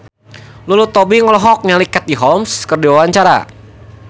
Lulu Tobing olohok ningali Katie Holmes keur diwawancara